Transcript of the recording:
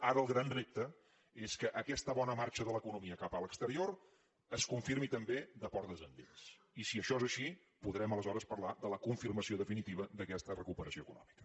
ara el gran repte és que aquesta bona marxa de l’economia cap a l’exterior es confirmi també de portes endins i si això és així podrem aleshores parlar de la confirmació definitiva d’aquesta recuperació econòmica